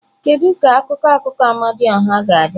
Kedu ka akụkọ akụkọ Amadioha ga-adị?